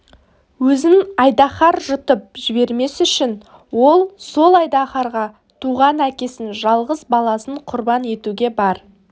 өзін айдаһар жұтып жібермес үшін ол сол айдаһарға туған әкесін жалғыз баласын құрбан етуге бар